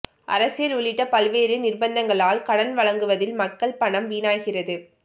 அரசியல் உள்ளிட்ட பல்வேறு நிர்பந்தங்களால் கடன் வழங்குவதில் மக்கள் பணம் வீணாகிறது